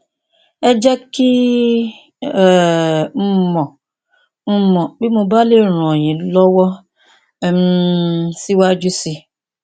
ẹ jẹ kí um n mọ n mọ bí mo bá lè ràn yín lọwọ um síwájú sí i